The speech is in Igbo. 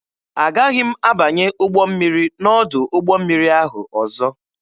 Agaghị m abanye ụgbọ mmiri n'ọdụ ụgbọ mmiri ahụ ọzọ.